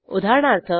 उदाहरणार्थ